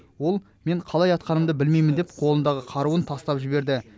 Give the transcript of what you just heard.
ол мен қалай атқанымды білмеймін деп қолындағы қаруын тастап жіберді